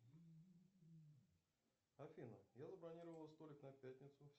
афина я забронировал столик на пятницу